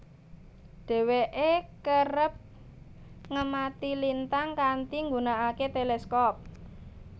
Dheweke kerep ngemati lintang kanthi nggunakake teleskop